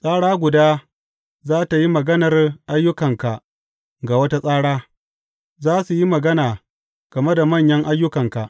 Tsara guda za tă yi maganar ayyukanka ga wata tsara; za su yi magana game da manyan ayyukanka.